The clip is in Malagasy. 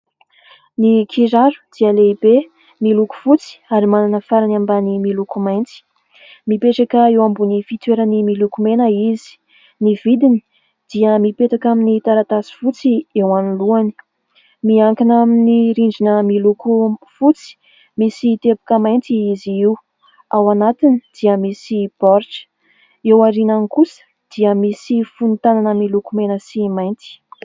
Ny kiraro dia lehibe, miloko fotsy ary manana farany ambany miloko mainty. Mipetraka eo ambony fitoerany miloko mena izy ; ny vidiny dia mipetaka amin'ny taratasy fotsy eo anoloany. Miankina amin'ny rindrina miloko fotsy misy teboka mainty izy io, ao anatiny dia misy baoritra ; eo aoriany kosa dia misy fonon-tanana miloko mena sy mainty.